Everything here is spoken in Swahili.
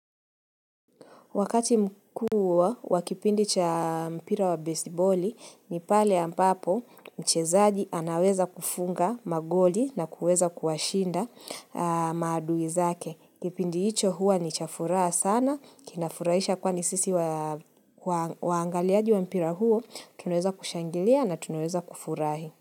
Wakati mkuu wa kipindi cha mpira wa besiboli ni pale ambapo mchezaji anaweza kufunga magoli na kuweza kuwashinda maadui zake. Kipindi hicho huwa ni cha furaha sana, kinafurahisha kwani sisi waangaliaji wa mpira huo, tunaeza kushangilia na tunaweza kufurahi.